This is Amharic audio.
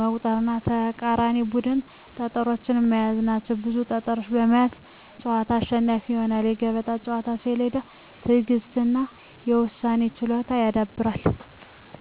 መቁጠር እና የተቃራኒን ቡድን ጠጠሮች መያዝ ናቸው። ብዙ ጠጠሮችን የሚይዝ ተጫዋች አሸናፊ ይሆናል። የገበጣ ጨዋታ ስሌትን፣ ትዕግሥትን እና የውሳኔ ችሎታን ያዳብራል።